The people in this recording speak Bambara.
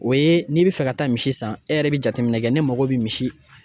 O ye n'i bɛ fɛ ka taa misi san e yɛrɛ bɛ jateminɛ kɛ ne mago bɛ misi.